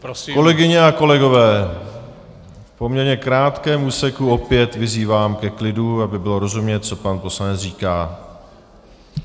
Kolegyně a kolegové, v poměrně krátkém úseku opět vyzývám ke klidu, aby bylo rozumět, co pan poslanec říká.